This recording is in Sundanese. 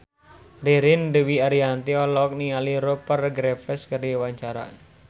Ririn Dwi Ariyanti olohok ningali Rupert Graves keur diwawancara